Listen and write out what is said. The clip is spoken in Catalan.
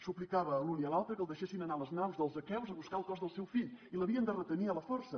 suplicava a l’un i a l’altre que el deixessin anar a les naus dels aqueus a buscar el cos del seu fill i l’havien de retenir a la força